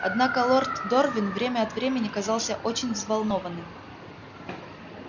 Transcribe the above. однако лорд дорвин время от времени казался очень взволнованным